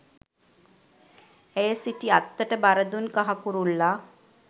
ඇය සිටි අත්තට බර දුන් කහ කුරුල්ලා